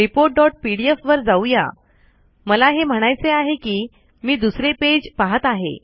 reportपीडीएफ वर जाउया मला हे म्हणायचे आहे कि मी दुसरे पेज पाहत आहे